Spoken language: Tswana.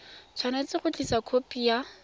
tshwanetse go tlisa khopi ya